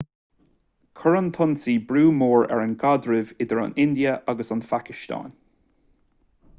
chuir an t-ionsaí brú mór ar an gcaidreamh idir an india agus an phacastáin